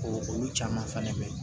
Ko olu caman fɛnɛ mɛn